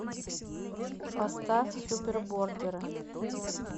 поставь супербордеры